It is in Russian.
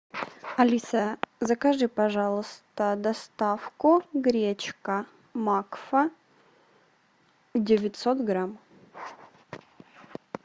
алиса закажи пожалуйста доставку гречка макфа девятьсот грамм